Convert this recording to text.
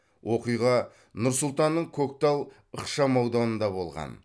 оқиға нұр сұлтанның көктал ықшамауданында болған